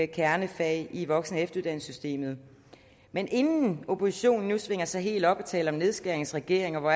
kernefag i voksen og efteruddannelsessystemet men inden oppositionen nu svinger sig helt op til at tale om nedskæringsregering og hvor